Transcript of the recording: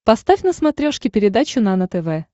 поставь на смотрешке передачу нано тв